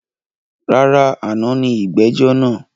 Rárá, àná ni ìgbẹ́jọ́ naa